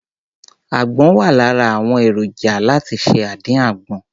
Àgbọn wà lára àwọn èròjà láti ṣe àdí àgbọn.